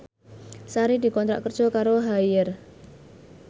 Sari dikontrak kerja karo Haier